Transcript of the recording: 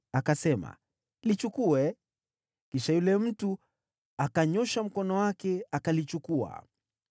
Akasema, “Lichukue.” Kisha yule mtu akanyoosha mkono wake, akalichukua.